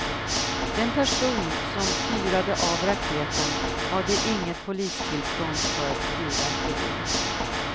Den person som fyrade av raketen hade inget polistillstånd för fyrverkeri.